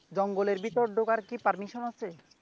জঙ্গলের ভিতরে কি ঢোকার permission আছে?